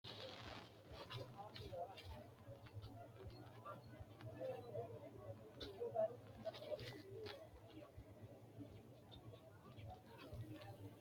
Kuri mereero dadillu, adhammete, diru ayyaanira hattono babbaxxino ma’note seerira uddi’nannireeti Kuri mereero dadillu, adhammete, diru ayyaanira hattono babbaxxino ma’note.